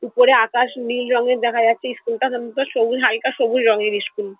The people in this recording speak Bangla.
উপরে আকাশ নীল রঙের দেখা যাচ্ছে ইস্কুলটা -টা কিন্তু সবুজ হালকা সবুজ রঙের ইস্কুল ।